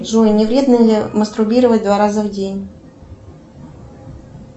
джой не вредно ли мастурбировать два раза в день